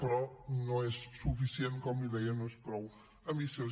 però no és suficient com li deia no és prou ambiciós